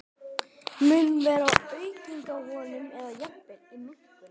Mun vera aukning á honum eða jafnvel minnkun?